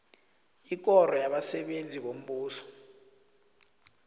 ikoro yabasebenzi bombuso